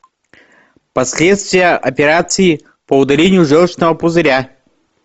последствия операции по удалению желчного пузыря